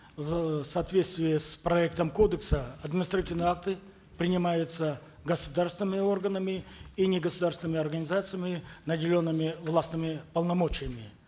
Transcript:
в соответствии с проектом кодекса административные акты принимаются государственными органами и негосударственными организациями наделенными властными полномочиями